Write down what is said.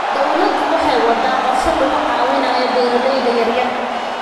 Dawladdu waxay waddaa qorshe lagu caawinayo beeralayda yaryar.